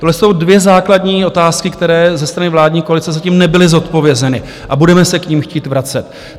Tohle jsou dvě základní otázky, které ze strany vládní koalice zatím nebyly zodpovězeny, a budeme se k nim chtít vracet.